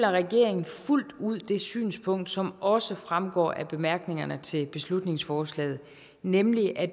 at regeringen fuldt ud deler det synspunkt som også fremgår af bemærkningerne til beslutningsforslaget nemlig at